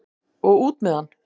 Og út með hann!